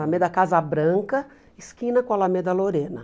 Alameda Casa Branca, esquina com Alameda Lorena.